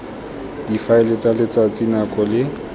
difaele tsa letsatsi nako le